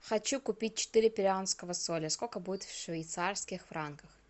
хочу купить четыре перуанского соля сколько будет в швейцарских франках